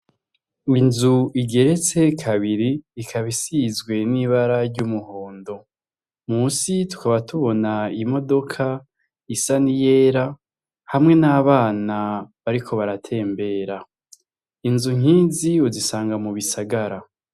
inzu igeretse kabiri ikabisizwe n'ibara ry'umuhondo musi twaba tubona imodoka isa ni yera hamwe n'abana bariko baratembera inzu nkizi uzisanga mu bisagara.